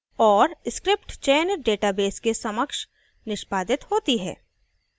और script चयनित database के समक्ष निष्पादित होती है